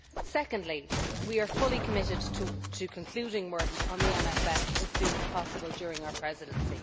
Secondly, we are fully committed to concluding work on the MFF as soon as possible during our Presidency.